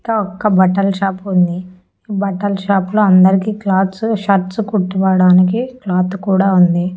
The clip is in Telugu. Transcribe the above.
క ఒక్క బట్టల షాపు ఉంది ఈ బట్టల షాపులో అందరికీ క్లాత్స్ షర్ట్స్ కుట్టివ్వడానికి క్లాత్ కూడా ఉంది.